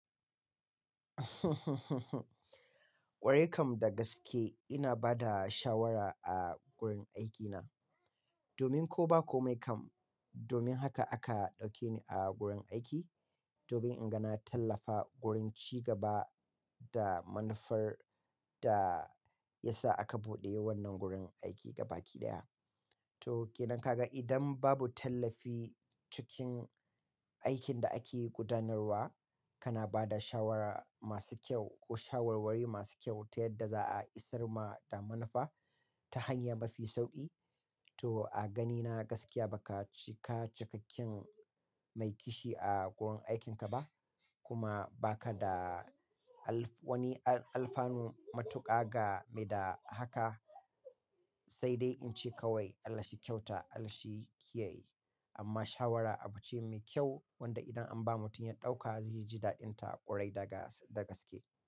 Ƙwarai kam da gaske ina ba da shawara a gurin aikina domin ko ba komai kam, domin haka aka ɗauke ni a gurin aiki, domin in ga na tallafa wurin cigaba da manufar da ya sa aka buɗe wannan gurin aiki gaba ɗaya. To ke nan ka ga idan babu tallafi cikin aikin da ake gudanarwa, kana ba da shawara masu kyau ko shawarwari masu kyau ta yadda za'a isar ma da manufa ta hanya mafi sauƙi. To a ganina gaskiya baka cikakken mai kishi a gurin aikinka ba kuma ba ka da wani alfanu matuƙa game da haka, sai dai in ce kawai Allah shi kyauta Allah shi kiyaye. Amma shawara abu ce mai kyau wanda idan an ba mutum ya ɗauka zai ji daɗinta ƙwarai da gaske.